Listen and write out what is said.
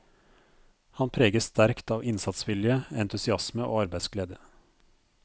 Han preges sterkt av innsatsvilje, entusiasme og arbeidsglede.